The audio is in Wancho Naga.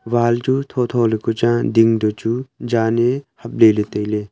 wall chu thotho le ku chang a ding to chu jan e hap lele taile.